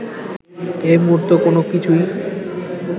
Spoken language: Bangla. এই মুহূর্তে কোনোকিছুই